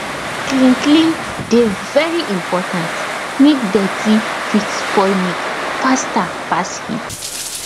clean clean dey very important make dirty fit spoil milk faster pass heat